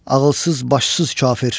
Ağılsız, başsız kafir!